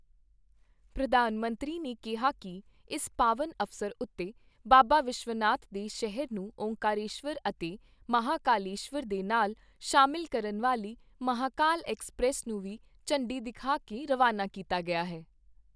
ਪ੍ਰਧਾਨ ਮੰਤਰੀ ਨੇ ਕਿਹਾ ਕਿ ਇਸ ਪਾਵਨ ਅਵਸਰ ਉੱਤੇ ਬਾਬਾ ਵਿਸ਼ਵਨਾਥ ਦੇ ਸ਼ਹਿਰ ਨੂੰ ਓਅੰਕਾਰੇਸ਼ਵਰ ਅਤੇ ਮਹਾਕਲੇਸ਼ਵਰ ਦੇ ਨਾਲ ਸ਼ਾਮਿਲ ਕਰਨ ਵਾਲੀ ਮਹਾਂਕਾਲ ਐਕਸਪ੍ਰੈੱਸ ਨੂੰ ਵੀ ਝੰਡੀ ਦਿਖਾ ਕੇ ਰਵਾਨਾ ਕੀਤਾ ਗਿਆ ਹੈ।